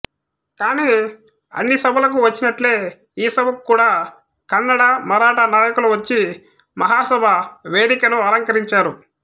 కానీ అన్ని సభలకు వచ్చినట్లే ఈ సభకు కూడా కన్నడ మరాఠా నాయకులు వచ్చి మహాసభ వేదికనలంకరించారు